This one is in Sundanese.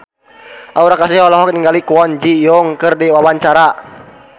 Aura Kasih olohok ningali Kwon Ji Yong keur diwawancara